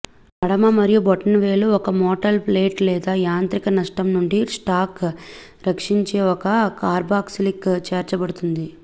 మడమ మరియు బొటనవేలు ఒక మెటల్ ప్లేట్ లేదా యాంత్రిక నష్టం నుండి స్టాక్ రక్షించే ఒక కార్బాక్సిలిక్ చేర్చబడుతుంది